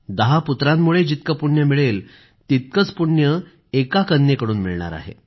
दहा पुत्रांमुळे जितके पुण्य मिळेल तेवढेच पुण्य एका कन्येकडून मिळणार आहे